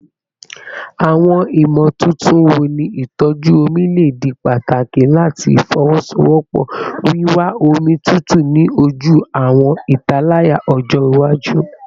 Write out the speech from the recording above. Awọn imotuntun wo ni itọju omi le di pataki lati fowosowopo wiwa omi tutu ni oju awọn italaya ọjọ iwaju?